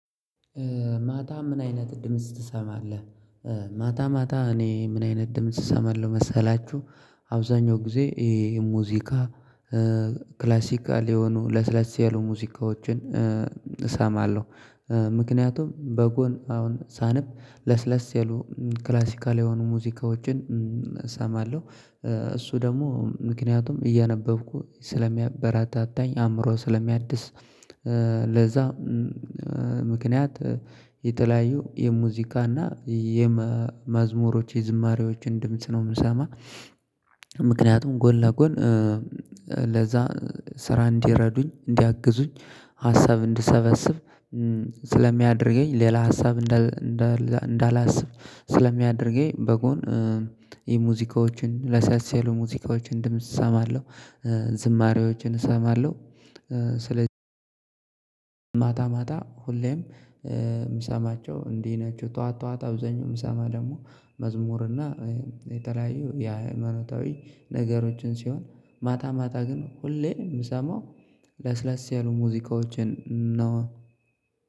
ማታ ምን አይነት ድምጽ ትሰማለህ? ማታ ማታ እኔ ምን አይነት ድምጽ እሰማለሁ መሰላችሁ። አብዛኛው ጊዜ ይሄ ሙዚቃ። ክላሲካል የሆኑ ለስለስ ያሉ ሙዚቃዎችን እሰማለሁ። ምክንያቱም በጎን አሁን ሳንብ ለስለስ ያሉ ክላሲካል የሆኑ ሙዚቃዎችን እሰማለሁ። እሱ ደግሞ ምክንያቱም እያነበብኩ ስለሚያበረታታኝ አእምሮ ስለሚያድስ። ለዛ ምክንያት የተለያዩ የሙዚቃና የመዝሙሮች የዝማሬዎችን ድምጽ ነው የምሰማ። ምክንያቱም ጎን ለጎን። ለዛ ስራ እንዲረዱኝ እንዲያግዙኝ ሀሳብ እንድሰበስብ ስለሚያደርገኝ። ሌላ ሀሳብ እንዳላስብ ስለሚያደርገኝ በጎን የሙዚቃዎችን ለስለስ ያሉ ሙዚቃዎችን ድምጽ እሰማለሁ። ዝማሬዎችን እሰማለሁ። ስለዚህ ማታ ማታ ሁሌም የምሰማቸው እንዲህ ናቸው። ጠዋት ጠዋት አብዛኛው ምሰማ ደግሞ መዝሙርና የተለያዩ የሃይማኖታዊ ነገሮችን ሲሆን። ማታ ማታ ግን ሁሌ የምሰማው ለስለስ ያሉ ሙዚቃዎችን ነው።